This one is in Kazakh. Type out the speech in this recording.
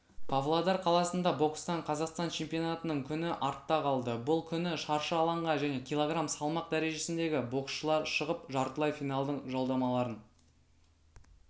павлодар қаласында бокстан қазақстан чемпионатының күні артта қалды бұл күні шаршы алаңға және кг салмақ дәрежесіндегі боксшылар шығып жартылай финалдың жолдамаларын